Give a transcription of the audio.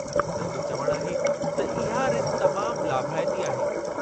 उन्हनि जो चवण आहे त इहा रिथ तमामु लाभाइती आहे।